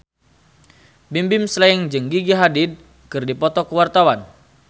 Bimbim Slank jeung Gigi Hadid keur dipoto ku wartawan